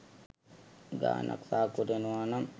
ගානක් සාක්කුවට එනවා නම්